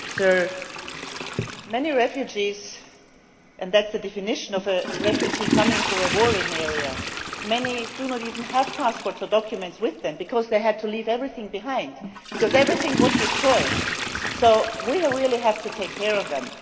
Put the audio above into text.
Sir, many refugees and the definition of a refugee is someone coming from a warring area do not even have passports or documents with them because they had to leave everything behind because everything was destroyed, so we really have to take care of them.